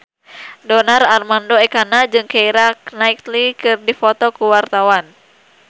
Donar Armando Ekana jeung Keira Knightley keur dipoto ku wartawan